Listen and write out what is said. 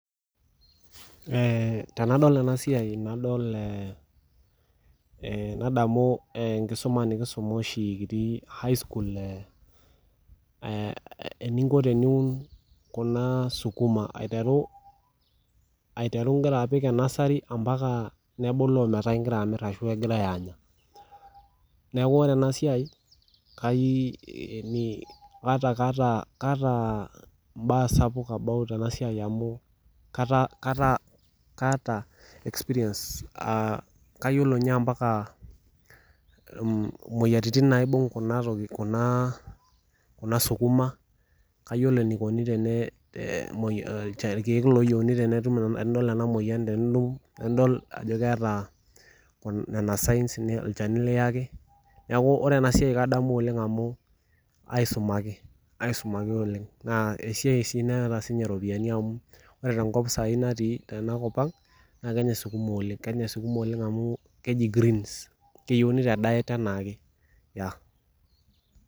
Tendol ena siai nadamu enkisuma nikisuma oshii kitii high school eeeniko teneun kuna sukuma aiteru inkira apik tenasari ometabaiki egirai aamir neeku ore ena siai kaata imbaa sapuk about ena siai amu kaaata experience aa keyiolo ninche ombaka imoyiaritin naaibung kuna sukuma kayiolo irkiek tenidol ajo keeta nena sains olchani kiyaki neeku keyiolo amu asumaki aisumaku oleng naa esiai sii naata iropiyiani amu ore tenkop saai naatii tena kop ang keyeuni te daet enaake.